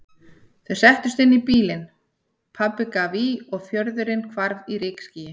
Þau settust inn í bílinn, pabbi gaf í og fjörðurinn hvarf í rykskýi.